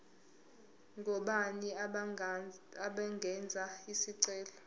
ngobani abangenza isicelo